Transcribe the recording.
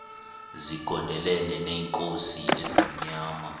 zigondelene neenkosi ezimnyama